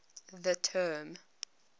the term